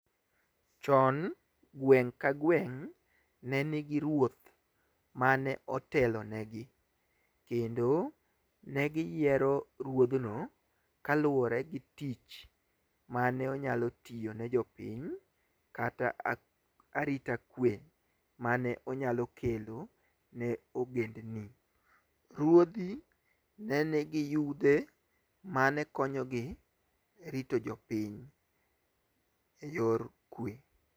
Chon gweng' ka gweng' ne nigi ruoth mane otelonegi, kendo negiyiero ruodhno kaluwore gi tich mane onyalo tiyo ne jopiny. Kata arita kwe mane onyalo kelo ne ogendni. Ruodhi, ne nigi yudhe mane konyogi rito jopiny e yor kwe.